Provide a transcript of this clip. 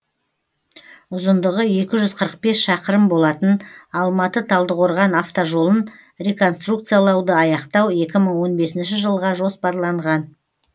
ұзындығы екі жүз қырық бес шақырым болатын алматы талдықорған автожолын реконструкциялауды аяқтау екі мың он бесінші жылға жоспарланған